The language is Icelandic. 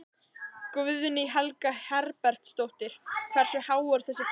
Guðný Helga Herbertsdóttir: Hversu há er þessi krafa?